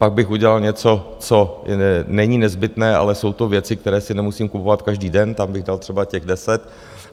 Pak bych udělal něco, co není nezbytné, ale jsou to věci, které si nemusím kupovat každý den, tam bych dal třeba těch deset.